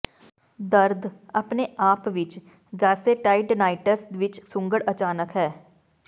ਦਰਦ ਆਪਣੇ ਆਪ ਵਿੱਚ ਗਾਸੇਟਾਈਡੇਡੇਨਾਈਟਿਸ ਵਿੱਚ ਸੁੰਗੜ ਅਚਾਨਕ ਹੈ